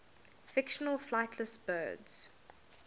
fictional flightless birds